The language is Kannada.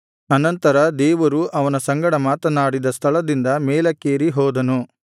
ಅನಂತರ ದೇವರು ಅವನ ಸಂಗಡ ಮಾತನಾಡಿದ ಸ್ಥಳದಿಂದ ಮೇಲಕ್ಕೇರಿ ಹೋದನು